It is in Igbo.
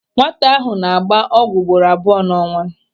Nwata ahụ na-agba ọgwụ ugboro abụọ n'ọnwa.